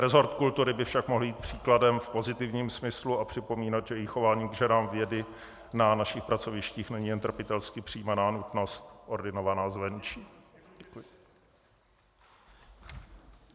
Resort kultury by však mohl jít příkladem v pozitivním smyslu a připomínat, že i chování k ženám vědy na našich pracovištích není jen trpitelsky přijímaná nutnost ordinovaná zvenčí.